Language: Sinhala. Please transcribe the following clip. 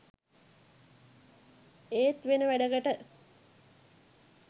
ඒත් වෙන වැඩකට